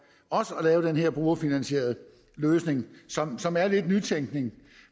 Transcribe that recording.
også at lave den her brugerfinansierede løsning som som er lidt nytænkning